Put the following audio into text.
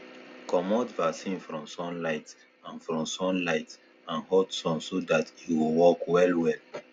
commot vaccine from sunlight and from sunlight and hot sun so that e go work well well